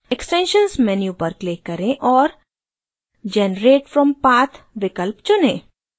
extensions menu पर click करें और generate from path विकल्प चुनें